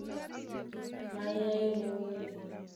Mayae guni